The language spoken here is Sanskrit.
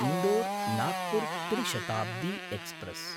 इन्दोर् नाग्पुर् त्रि शताब्दी एक्स्प्रेस्